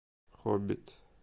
хоббит